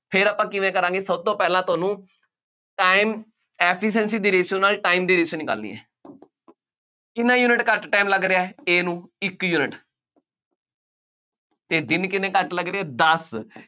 ਫੇਰ ਆਪਾਂ ਕਿਵੇ ਕਰਾਂਗੇ ਸਭ ਤੋਂ ਪਹਿਲਾਂ ਤੁਹਾਨੂੰ time efficiency ਦੀ ratio ਨਾਲ time ਦੀ ratio ਨਿਕਾਲਣੀ ਹੈ ਕਿੰਨਾ ਯੂਨਿਟ ਘੱਟ time ਲੱਗ ਰਿਹਾ, A ਨੂੰ, ਇੱਕ ਯੂਨਿਟ ਅਤੇ ਦਿਨ ਕਿੰਨੇ ਘੱਟ ਲੱਗ ਰਹੇ, ਦੱਸ